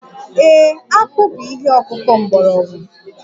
Ee, akpu bụ ihe ọkụkụ mgbọrọgwụ